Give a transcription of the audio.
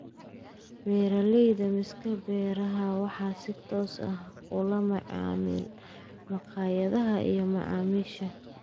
Beeralayda-miis-ka-beeraha waxay si toos ah ula macaamilaan makhaayadaha iyo macaamiisha.